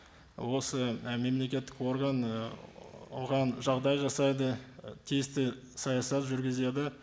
осы і мемлекеттік орган і оған жағдай жасайды і тиісті саясат жүргізеді